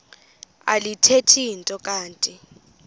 alithethi nto kanti